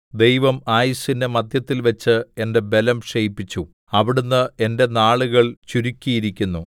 ദൈവം ആയുസ്സിന്റെ മധ്യത്തില്‍ വെച്ച് എന്റെ ബലം ക്ഷയിപ്പിച്ചു അവിടുന്ന് എന്റെ നാളുകൾ ചുരുക്കിയിരിക്കുന്നു